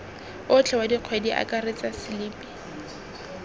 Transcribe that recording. otlhe wa kgwedi akaretsa selipi